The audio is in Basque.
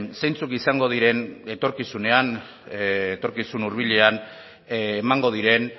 zeintzuk izango diren etorkizunean etorkizun hurbilean emango diren